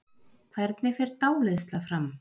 hvernig fer dáleiðsla fram